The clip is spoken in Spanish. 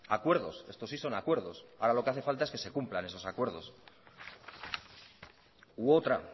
acuerdos estos sí son acuerdos ahora lo que hace falta es que se cumplan esos acuerdos u otra